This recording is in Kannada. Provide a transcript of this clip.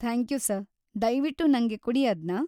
ಥ್ಯಾಂಕ್ಯೂ ಸರ್‌, ದಯ್ವಿಟ್ಟು ನಂಗ್ ಕೊಡಿ‌ ಅದ್ನ.